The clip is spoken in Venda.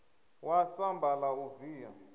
wa samba la u via